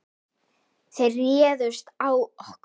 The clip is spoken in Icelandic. Þeir réðust á okkur.